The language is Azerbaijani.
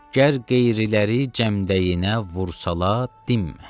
Gər qeyri, girələri cəmdəyinə vursalar, dinmə.